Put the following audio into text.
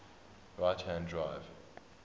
right hand drive